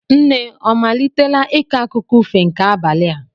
Nne ọ malitela ịkọ akụkọ ifo nke abalị a?